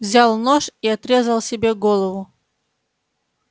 взял нож и отрезал себе голову